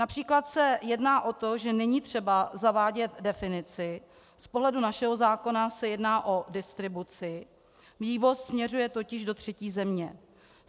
Například se jedná o to, že není třeba zavádět definici, z pohledu našeho zákona se jedná o distribuci, vývoz směřuje totiž do třetí země.